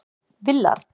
Willard